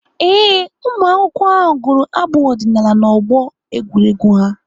Ee, ụmụakwụkwọ ahụ gụrụ abụ ọdịnaala n'ọgbọ egwuregwu ha.